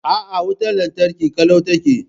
A'a, wutar lantarki ƙalau take.